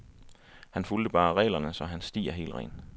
Han fulgte bare reglerne, så hans sti er helt ren.